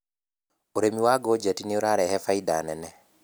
ũrĩmi wa ngojeti nĩũrarehe bainda nene.